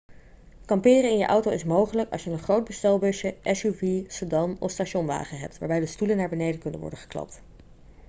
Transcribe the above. kamperen in je auto is mogelijk als je een groot bestelbusje suv sedan of stationwagen hebt waarbij de stoelen naar beneden kunnen worden geklapt